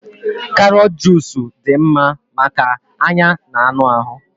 karọt jusu dị mma maka anya na anụ ahụ